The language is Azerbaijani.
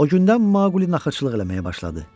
O gündən Maqli naxırçılıq eləməyə başladı.